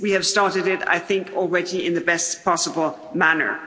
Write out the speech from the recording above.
We have started it, I think, already in the best possible manner.